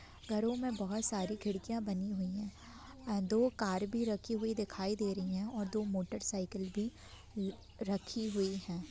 घरों में बोहत सारी खिड़िकयाँ बानी हुई है दो कार भी रखी हुई दिखाई दे रही है और दो मोटर साइकिल भी ल रखी हुई है।